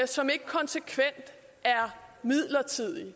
som ikke konsekvent er midlertidig når